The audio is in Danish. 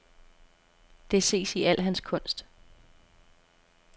Det ses i al hans kunst.